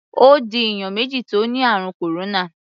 Ó di èèyàn méjì tí ó ni ààrùn kòróná.